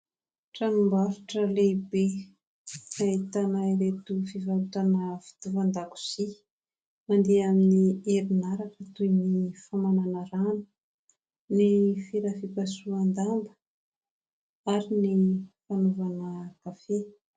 Tranom-barotra lehibe ahitana ireto fivarotana fitaovan-dakozia mandeha amin'ny herinaratra toy ny famanana rano, ny fera fipasohan-damba ary ny fanaovana kafe.